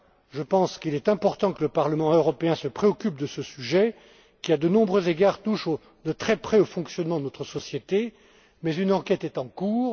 Je pense qu'il est important que le Parlement européen se préoccupe de ce sujet qui, à de nombreux égards, touche de très près au fonctionnement de notre société Mais une enquête est en cours.